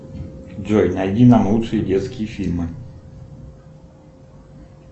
джой найди нам лучшие детские фильмы